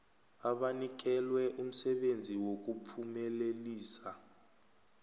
abanikelwe umsebenzi wokuphumelelisa